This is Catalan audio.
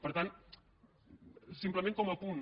per tant simplement com a apunt